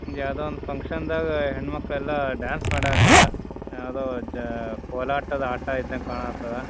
ಯಾವ್ದು ಒಂದು ಫ್ಯಾಂಕ್ಷನ್ ದಾಗ ಹೆಣ್ಣು ಮಕ್ಕಳು ಎಲ್ಲ ಡಾನ್ಸ್ ಮಾಡಕ್ಕತ್ತರ ಯಾವ್ದೋ ಜ ಕೋಲಾಟದ ಆಟ ಇದ್ದಂಗೆ ಕಾಣ್ತಾದ್ದ .